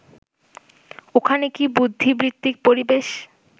ওখানে কি বুদ্ধিবৃত্তিক পরিবেশ